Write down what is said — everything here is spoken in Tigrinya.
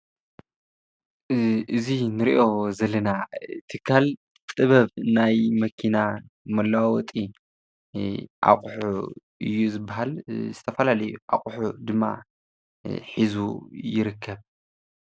እዚ ንርእይዮ ዘለና ትካል ጥበብ ናይ መኪና መለዋወጢ ኣቁሑ እዩ ዝብሃል። ዝተፈላለዩ ኣቁሑ ድማ ሒዙ ይርከብ።